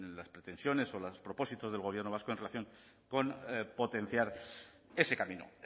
las pretensiones o los propósitos del gobierno vasco en relación con potenciar ese camino